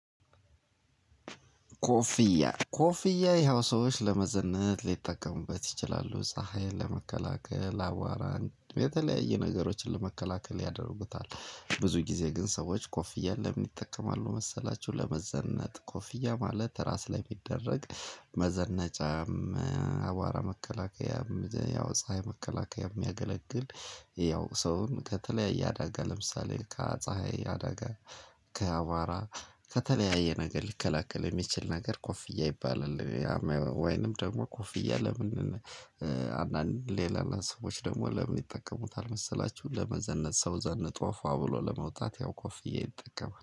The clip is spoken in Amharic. ኮፍያ፣ ኮፍያ ይሄው ሰዎች ለመዘነጥ ሊጠቀሙበት ይችላሉ። ፀሀይን ለመከላከል፣ አዋራን፣ የተለያየ ነገሮችን ለመከላከል ያደርጉታል። ብዙ ጊዜ ግን ሰዎች ኮፍያን ለምን ይጠቀማሉ መሰላችሁ ለመዘነጥ ኮፍያ ማለት ራስ ላይ የሚደረግ መዘነጫም፣ አቧራ መከላከያም፣ ያው ፀሀይ መከላከያም የሚያገለግል ያው ሰውን ከተለያየ አዳጋ ለምሳሌ ከፀሀይ አዳጋ ከአቧራ ከተለያየ ነገር ሊከላከል የሚችል ነገር ኮፍያ ይባላል። ወይንም ደግሞ ኮፍያ ለምን አንዳንድ ሌላ ለ ሰዎች ደግሞ ለምን ይጠቀሙታል መሰላችሁ ለመዘነጥ። ሰው ዘነጦ ፏ ብሎ ለመውጣት ያው ኮፍያ ይጠቀማል።